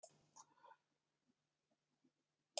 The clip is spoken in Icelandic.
Arnarbæli